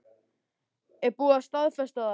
Er búið að staðfesta það?